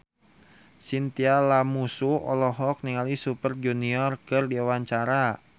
Chintya Lamusu olohok ningali Super Junior keur diwawancara